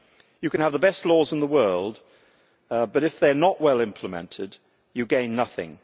You can have the best laws in the world, but if they are not well implemented, you gain nothing.